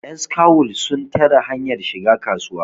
yanskawul sun tare hanyar shiga kasuwa